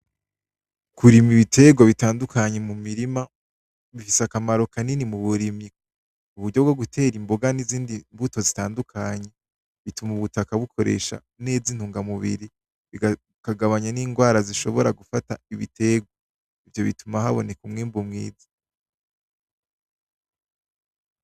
Kurima ibiterwa bitandukanye mu mirima, bifise akamaro kanini muburimyi, muburyo bwo gutera imboga n'izindi mbuto zitandukanye bituma ubutaka bukoresha neza intungamubiri, bikagabanya n'ingwara zishobora gufata ibitarwa, ivyo bituma haboneka umwimbu mwiza .